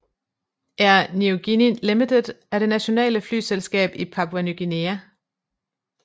Air Niugini Limited er det nationale flyselskab i Papua Ny Guinea